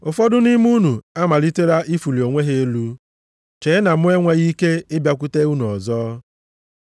Ụfọdụ nʼime unu amalitela ịfụlị onwe ha elu, chee na mụ enweghị ike ịbịakwute unu ọzọ.